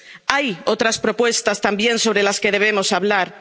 Hay otras propuestas también sobre las que debemos hablar.